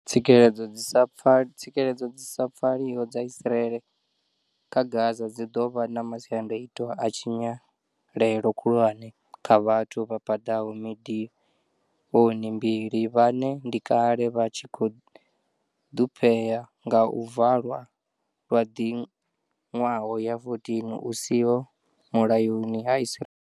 Tsikeledzo dzi sa pfaliho dza Israeli kha Gaza dzi ḓo vha na masiandoitwa a tshinyalelo khulwane kha vhathu vha paḓaho miḓioni mbili vhane ndi kale vha tshi khou ḓhuphea nga u valwa lwa miḓwaha ya 14 hu siho mulayoni ha Israeli.